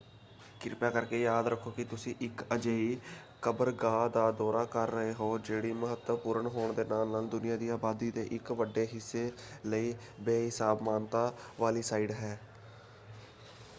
ਕਿਰਪਾ ਕਰਕੇ ਯਾਦ ਰੱਖੋ ਕਿ ਤੁਸੀਂ ਇੱਕ ਅਜਿਹੀ ਕਬਰਗਾਹ ਦਾ ਦੌਰਾ ਕਰ ਰਹੇ ਹੋ ਜਿਹੜੀ ਮਹੱਤਵਪੂਰਨ ਹੋਣ ਦੇ ਨਾਲ ਨਾਲ ਦੁਨੀਆਂ ਦੀ ਆਬਾਦੀ ਦੇ ਇੱਕ ਵੱਡੇ ਹਿੱਸੇ ਲਈ ਬੇਹਿਸਾਬ ਮਾਨਤਾ ਵਾਲੀ ਸਾਈਟ ਹੈ।